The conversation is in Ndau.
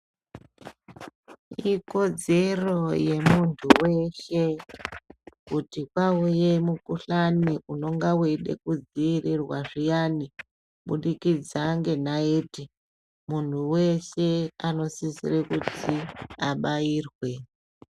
Ikodzoro ye muntu weshe kuti pauye mu kuhlani unonga weida ku dzivirirwa zviyani kubudikidza nge naiti muntu weshe ano sisire kuti abairwe.